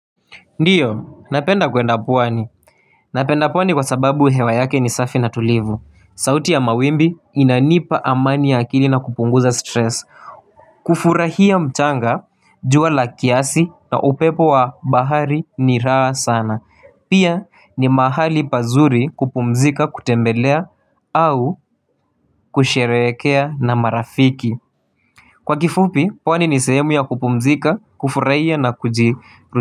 Ndiyo, napenda kwenda pwani. Napenda pwani kwa sababu hewa yake ni safi na tulivu. Sauti ya mawimbi inanipa amani ya akili na kupunguza stress. Kufurahia mchanga, jua la kiasi na upepo wa bahari ni raa sana. Pia ni mahali pazuri kupumzika, kutembelea au kusherekea na marafiki. Kwa kifupi, pwani ni sehemu ya kupumzika, kufurahia na kujiklusi.